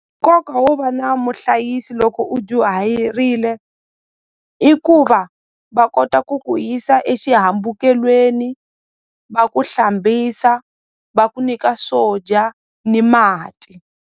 Nkoka wo va na muhlayisi loko u dyuhayirile i ku va va kota ku ku yisa exihambukelweni va ku hlambisa va ku nyika swo dya ni mati.